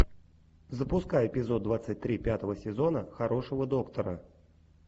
запускай эпизод двадцать три пятого сезона хорошего доктора